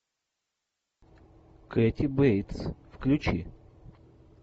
кэти бейтс включи